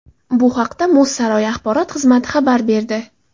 Bu haqda muz saroyi axborot xizmati xabar berdi.